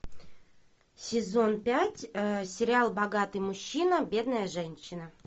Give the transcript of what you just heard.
сезон пять сериал богатый мужчина бедная женщина